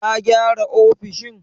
Ta gyara ofishin?